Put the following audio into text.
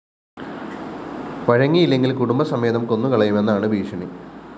വഴങ്ങിയില്ലെങ്കില്‍ കുടുംബസമേതം കൊന്നുകളയുമെന്നാണ് ഭീഷണി